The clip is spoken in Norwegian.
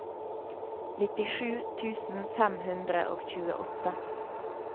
nittisju tusen fem hundre og tjueåtte